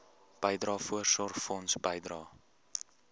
bydrae voorsorgfonds bydrae